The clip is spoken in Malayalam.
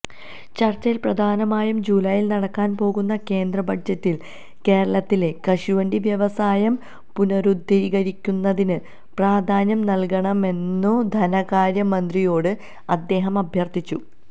ചർച്ചയിൽ പ്രധാനമായും ജൂലൈയിൽ നടക്കാൻ പോകുന്ന കേന്ദ്ര ബജറ്റിൽ കേരളത്തിലെ കശുവണ്ടി വ്യവസായം പുനരുദ്ധരിക്കുന്നതിന് പ്രാധാന്യം നൽകണമെന്നുംധനകാര്യമന്ത്രിയോട് അദ്ദേഹംഅഭ്യർത്ഥിച്ചു